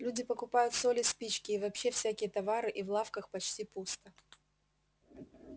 люди покупают соль и спички и вообще всякие товары и в лавках почти пусто